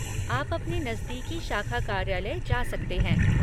आप अपने नज़दीकी शाखा कार्यालय जा सकते हैं।